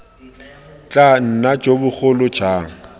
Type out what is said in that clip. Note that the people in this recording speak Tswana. tla nna jo bogolo jang